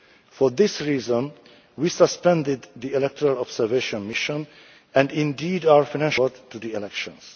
For this reason we suspended the Electoral Observation Mission and, indeed, our financial support for the elections.